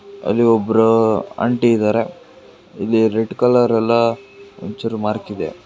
ಅಲ್ಲಿ ಒಬ್ರು ಆಂಟಿ ಇದಾರೆ ಇಲ್ಲಿ ರೆಡ್ ಕಲರ್ ಅಲ್ಲ ಒಂಚೂರು ಮಾರ್ಕ್ ಇದೆ.